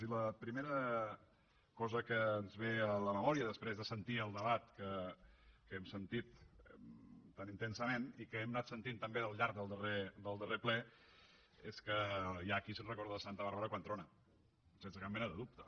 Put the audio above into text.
i la primera cosa que ens ve a la memòria després de sentir el debat que hem sentit tan intensament i que hem anat sentint també al llarg del darrer ple és que hi ha qui es recorda de santa bàrbara quan trona sense cap mena de dubte